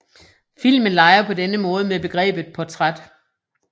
Filmen leger på denne måde med begrebet portræt